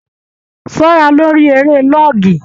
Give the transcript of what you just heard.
Ṣọra lórí eré lọọgì!